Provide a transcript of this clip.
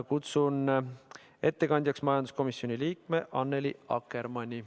Kutsun ettekandjaks majanduskomisjoni liikme Annely Akkermanni.